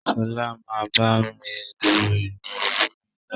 Ṣọlá máa bá mi lu imú mi lọ́la.